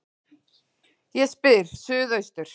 Ég spyr: Suðaustur